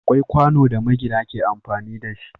Akwai kwano da magina ke amfani da shi.